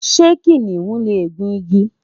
ṣé kìnìún lè gùn igi?